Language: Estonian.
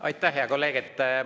Aitäh, hea kolleeg!